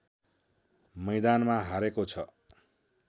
मैदानमा हारेको छ